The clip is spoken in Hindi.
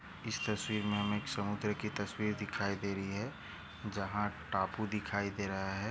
इस तस्वीर मे हमे एक समुद्र की तस्वीर दिखाई दे रही है जहाँ टापू दिखाई दे रहा है।